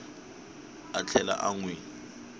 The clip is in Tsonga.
a tlhela a n wi